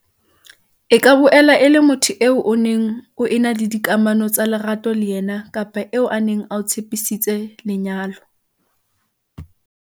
E ka boela e le motho eo o neng o ena le dikamano tsa lerato le yena kapa eo a neng a o tshepisitse lenyalo.